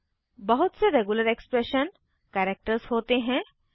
बहुत से regular expression characters होते हैं